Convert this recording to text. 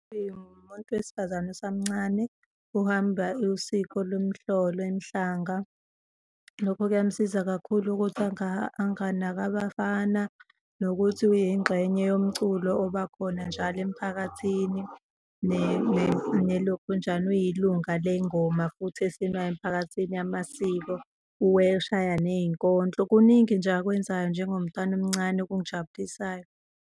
Umuntu wesifazane osamncane uhamba usiko lomhlolo emhlanga. Lokho kuyamsiza kakhulu ukuthi anganaki abafana nokuthi uyingxenye yomculo obakhona njalo emphakathini, nelokhunjana uyilunga ley'ngoma futhi esinwayo emphakathini yamasiko, uweshaya ney'nkondlo. Kuningi nje akwenzayo njengomntwana omncane okungijabulisayo.